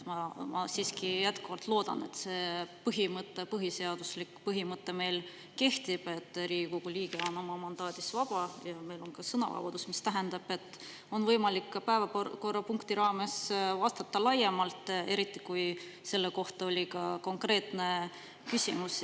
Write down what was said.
Ma siiski jätkuvalt loodan, et see põhimõte, põhiseaduslik põhimõte, meil kehtib, et Riigikogu liige on oma mandaadis vaba, ja meil on ka sõnavabadus, mis tähendab, et on võimalik ka päevakorrapunkti raames vastata laiemalt, eriti kui selle kohta oli ka konkreetne küsimus.